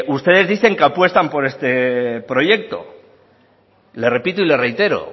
ustedes dicen que apuestan por este proyecto le repito y le reitero